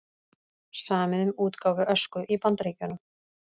Samið um útgáfu Ösku í Bandaríkjunum